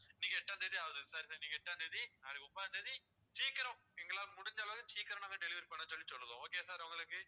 இன்னைக்கு எட்டாம் தேதி ஆகுது sir sir இன்னைக்கு எட்டாம் தேதி ஆகுது நாளைக்கு ஒன்பதாம் தேதி சீக்கிரம் எங்களால முடிஞ்ச அளவு சீக்கிரம் நாங்க delivery பண்ண சொல்லி சொல்லுதோம் okay யா sir உங்களுக்கு